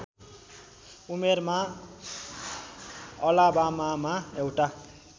उमेरमा अलाबामामा एउटा